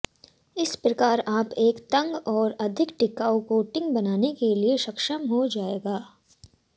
इस प्रकार आप एक तंग और अधिक टिकाऊ कोटिंग बनाने के लिए सक्षम हो जाएगा